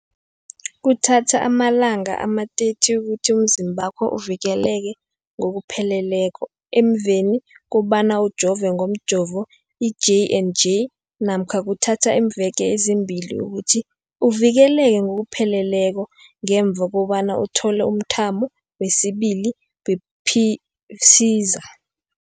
Kuthatha amalanga ama-30 ukuthi umzimbakho uvikeleke ngokupheleleko emveni kobana ujove ngomjovo i-J and J namkha kuthatha iimveke ezimbili ukuthi uvikeleke ngokupheleleko ngemva kobana uthole umthamo wesibili wePfizer.